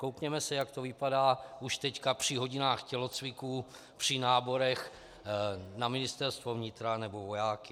Koukněme se, jak to vypadá už teď při hodinách tělocviku, při náborech na Ministerstvo vnitra nebo vojáky.